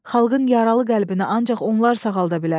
Xalqın yaralı qəlbinə ancaq onlar sağalda bilər.